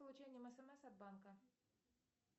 получением смс от банка